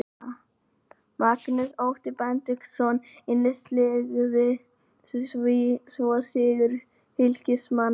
Magnús Otti Benediktsson innsiglaði svo sigur Fylkismanna.